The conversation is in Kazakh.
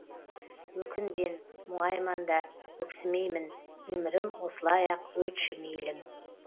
өкінбен мұңайман да өксімеймін өмірім осылай ақ өтші мейлің